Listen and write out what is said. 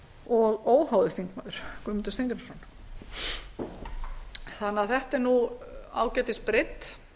og óháður þingmaður guðmundur steingrímsson þannig að þetta er ágætis breidd